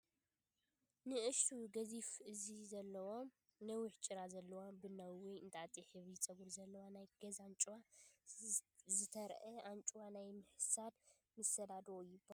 ንኣሽቱ ገዚፍ እዝኒ ዘለዋ፡ ነዊሕ ጭራ ዘለዋን ቡናዊ ወይ እንጣጢዕ ሕብሪ ጸጉርን ዘለዋ ናይ ገዛ ኣንጭዋ ዘትረአ። ኣንጭዋ ናይ ምሕሳድ ምስላ ዶ ትባሃል?